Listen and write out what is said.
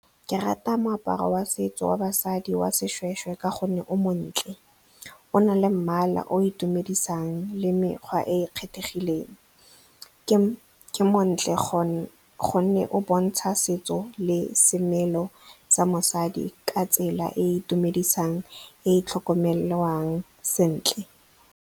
Ke rata moaparo wa setso wa basadi wa seshweshwe ka gonne o montle, o na le mmala o itumedisang le mekgwa e e kgethegileng. Ke montle gonne o bontsha setso le semelo sa mosadi ka tsela e e itumedisang e tlhokomelwang sentle.